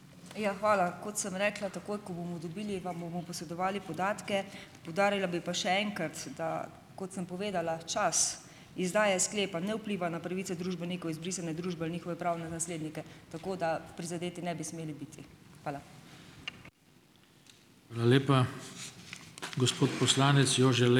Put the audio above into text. Ja, hvala. Kot sem rekla takoj, ko bomo dobili, vam bomo posredovali podatke. Poudarila bi pa še enkrat, da kot sem povedala, čas izdaje sklepa ne vpliva na pravice družbenikov izbrisane družbe in njihove pravne naslednike, tako da prizadeti ne bi smeli biti. Hvala.